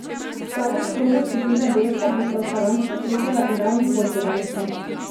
V zadnjem krogu skupine B se bosta v Saransku srečala Iran in Portugalska.